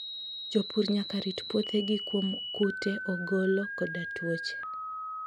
Jopur nyaka rit puothegi kuom kute, ogolo, koda tuoche.